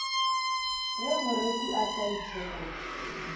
ge moreku a sa ithekole